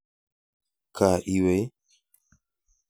Ka iwe ii?